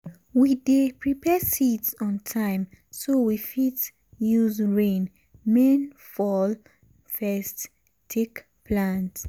we dey prepare seeds on time so we fit use rain main fall first take plant.